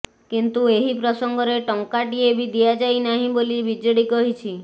କିନ୍ତୁ ଏହି ପ୍ରସଙ୍ଗରେ ଟଙ୍କାଟିଏ ବି ଦିଆଯାଇନାହିଁ ବୋଲି ବିଜେଡି କହିଛି